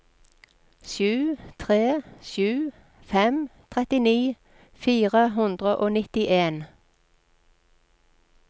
sju tre sju fem trettini fire hundre og nittien